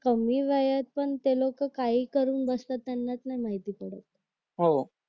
कमी वयात पण ते लोक काही करून बसतात त्यांनाच नाही माहिती पडत